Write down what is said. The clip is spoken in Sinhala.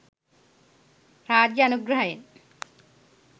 රාජ්‍ය අනුග්‍රහයෙන්.